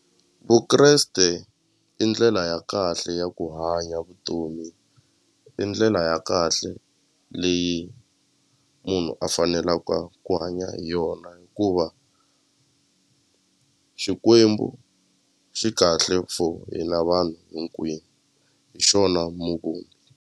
Vukreste i ndlela ya kahle ya ku hanya vutomi i ndlela ya kahle leyi munhu a fanelaka ku hanya hi yona hikuva xikwembu xi kahle for hina vanhu hinkwenu hi xona .